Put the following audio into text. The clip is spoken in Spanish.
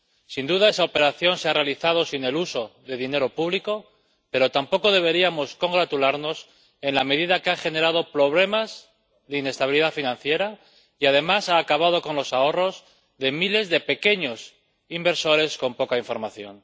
Sin duda, esa operación se ha realizado sin el uso de dinero público, pero tampoco deberíamos congratularnos, dado que ha generado problemas de inestabilidad financiera y, además, ha acabado con los ahorros de miles de pequeños inversores con poca información.